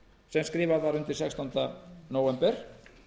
sem skrifað var undir sextánda nóvember